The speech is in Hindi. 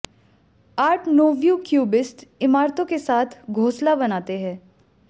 आर्ट नोव्यू क्यूबिस्ट इमारतों के साथ घोंसला बनाते हैं